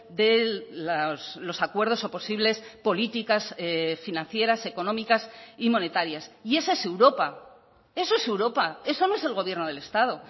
de los acuerdos o posibles políticas financieras económicas y monetarias y esa es europa eso es europa eso no es el gobierno del estado